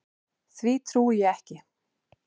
Ég trúi því ekki!